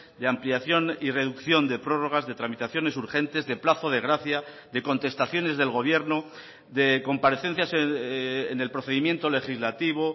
de ampliación y reducción de prórrogas de tramitaciones urgentes de plazo de gracia de contestaciones del gobierno de comparecencias en el procedimiento legislativo